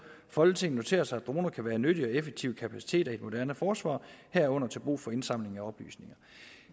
folketinget noterer sig at droner kan være nyttige og effektive kapaciteter i et moderne forsvar herunder til brug for indsamling af oplysninger